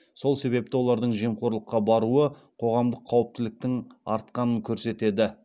сол себепті олардың жемқорлыққа баруы қоғамдық қауіптіліктің артқанын көрсетеді